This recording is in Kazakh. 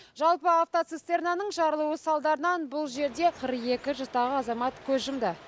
жалпы атвоцистернаның жарылуы салдарынан бұл жерде қырық екі жастағы азамат көз жұмды